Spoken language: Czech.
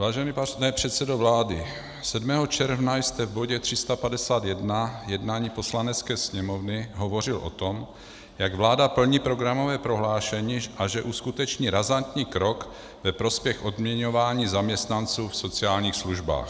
Vážený pane předsedo vlády, 7. června jste v bodě 351 jednání Poslanecké sněmovny hovořil o tom, jak vláda plní programové prohlášení a že uskuteční razantní krok ve prospěch odměňování zaměstnanců v sociálních službách.